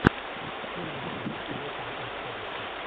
первый эпизод филатова энд караса